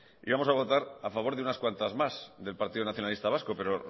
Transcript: íbamos a votar a favor de unas cuantas más del partido nacionalista vasco pero